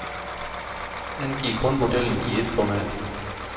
Angiv kun modellen i et format.